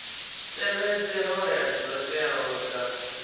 tevhedze hoea dzo teaho dza